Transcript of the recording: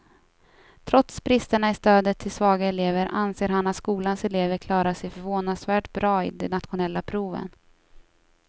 Trots bristerna i stödet till svaga elever anser han att skolans elever klarar sig förvånansvärt bra i de nationella proven.